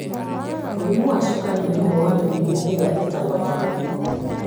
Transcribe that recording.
Mũrimũ wa cukari nĩ ũmwe wa mĩrimũ ĩrĩa ĩtagwatanagio.